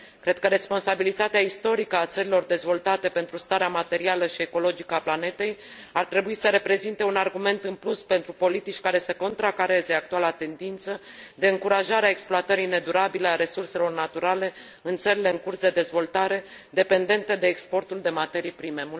Cred că responsabilitatea istorică a țărilor dezvoltate pentru starea materială și ecologică a planetei ar trebui să reprezinte un argument în plus pentru politici care să contracareze actuala tendință de încurajare a exploatării nedurabile a resurselor naturale în țările în curs de dezvoltare, dependente de exportul de materii prime.